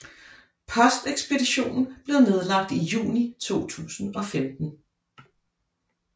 Postekspeditionen blev nedlagt i juni 2015